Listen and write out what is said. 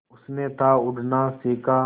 उसने था उड़ना सिखा